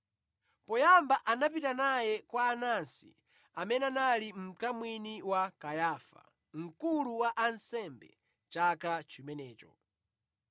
Poyamba anapita naye kwa Anasi amene anali mkamwini wa Kayafa, mkulu wa ansembe chaka chimenecho.